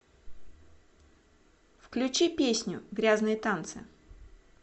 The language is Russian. включи песню грязные танцы